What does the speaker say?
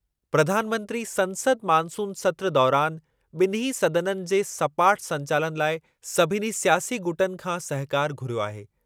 प्रधानमंत्री संसद मानसून सत्रु दौरानि ॿिन्हीं सदननि जे सपाट संचालनु लाइ सभिनी स्यासी गुटनि खां सहकारु घुरियो आहे।